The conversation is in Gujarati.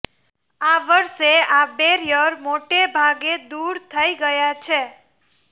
આ વર્ષે આ બેરિયર મોટાભાગે દૂર થઇ ગયાં છે